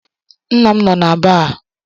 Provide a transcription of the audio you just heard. Nna m no na baa.